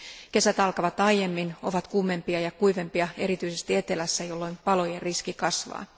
Kesät alkavat aiemmin, ovat kuumempia ja kuivempia erityisesti etelässä, jolloin palojen riski kasvaa.